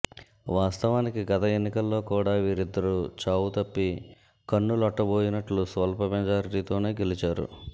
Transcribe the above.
వాస్తవానికి గత ఎన్నికల్లో కూడా వీరిద్దరు చావుతప్పి కన్నులొట్టబోయినట్టు స్వల్ప మెజార్టీలతోనే గెలిచారు